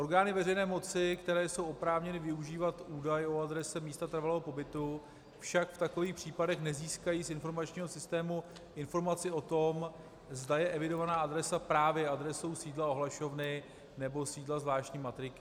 Orgány veřejné moci, které jsou oprávněny využívat údaj o adrese místa trvalého pobytu, však v takových případech nezískají z informačního systému informaci o tom, zda je evidovaná adresa právě adresou sídla ohlašovny nebo sídla zvláštní matriky.